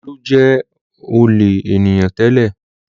Olú jẹ ọ̀lẹ ènìyàn tẹ́lẹ̀.